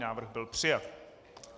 Návrh byl přijat.